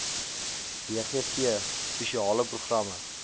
bgv spesiale programme